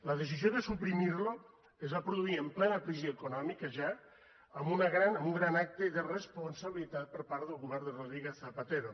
la decisió de suprimir lo es va produir en plena crisi econòmica ja en un gran acte d’irresponsabilitat per part del govern de rodríguez zapatero